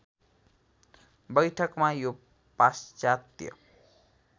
बैठकमा यो पाश्चात्य